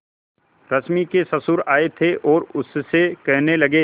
रश्मि के ससुर आए थे और उससे कहने लगे